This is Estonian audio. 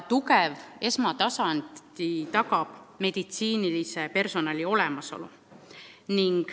Tugeva esmatasandi tagab meditsiinilise personali olemasolu.